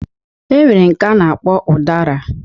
E nwere nke a na-akpọ ụdara